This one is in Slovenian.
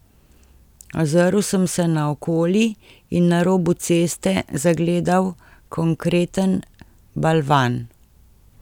Ozrl sem se naokoli in na robu ceste zagledal konkreten balvan.